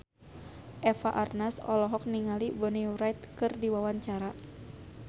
Eva Arnaz olohok ningali Bonnie Wright keur diwawancara